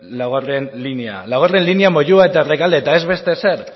laugarrena linea laugarrena linea moyua eta rekalde eta ez beste ezer